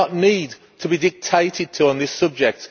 We do not need to be dictated to on this subject.